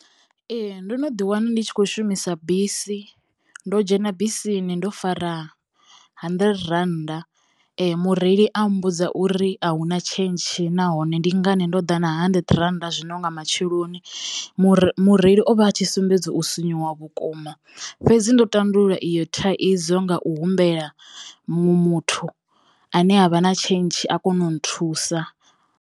Ee. Ndo no ḓi wana ndi tshi khou shumisa bisi, ndo dzhena bisini ndo fara hanḓirete rannda mureili a mmbudza uri a huna tshentshi nahone ndi ngani ndo ḓa na hanḓirete rannda zwino nga matsheloni mure mureili o vha a tshi sumbedza u sinyuwa vhukuma fhedzi ndo tandulula iyo thaidzo nga u humbela muṅwe muthu ane a vha na tshentshi a kono u nthusa.